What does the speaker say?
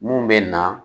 Mun bɛ na